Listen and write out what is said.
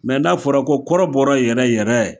n'a fɔra ko kɔrɔbɔrɔ yɛrɛ yɛrɛ